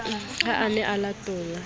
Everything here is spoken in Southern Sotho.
ha a ne a latola